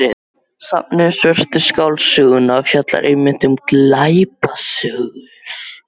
Safnið um Svörtu skáldsöguna fjallar einmitt um glæpasögur.